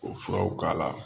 O furaw k'a la